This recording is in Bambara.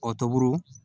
Kɔ toburu